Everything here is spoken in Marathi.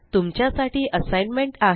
तुमच्या साठी असाइनमेंट आहे